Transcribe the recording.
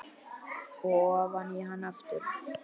Og ofan í hana aftur.